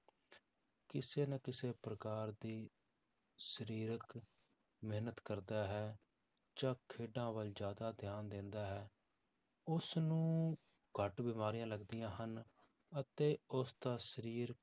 ਕਿਸੇ ਨਾ ਕਿਸੇ ਪ੍ਰਕਾਰ ਦੀ ਸਰੀਰਕ ਮਿਹਨਤ ਕਰਦਾ ਹੈ ਜਾਂ ਖੇਡਾਂ ਵੱਲ ਜ਼ਿਆਦਾ ਧਿਆਨ ਦਿੰਦਾ ਹੈ, ਉਸਨੂੰ ਘੱਟ ਬਿਮਾਰੀਆਂ ਲੱਗਦੀਆਂ ਹਨ, ਅਤੇ ਉਸਦਾ ਸਰੀਰ